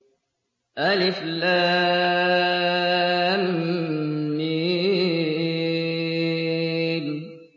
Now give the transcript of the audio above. الم